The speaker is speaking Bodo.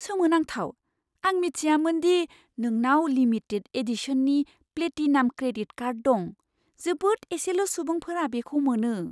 सोमोनांथाव! आं मिथियामोन दि नोंनाव लिमिटेड एडिशननि प्लेटिनाम क्रेडिट कार्ड दं। जोबोद एसेल' सुबुंफोरा बेखौ मोनो।